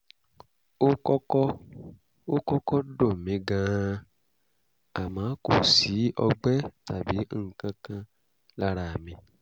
ó kọ́kọ́ ó kọ́kọ́ dùn mí gan-an àmọ́ kò sí ọgbẹ́ tàbí nǹkan kan lára mi